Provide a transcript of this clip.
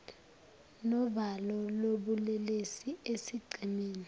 novalo lobulelesi esigcemeni